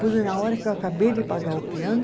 Pois na hora que eu acabei de pagar o piano.